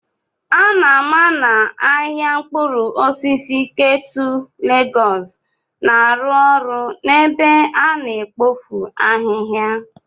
A na-ama na ahịa mkpụrụ osisi Ketu Lagos na-arụ ọrụ n'ebe a na-ekpofu ahihia.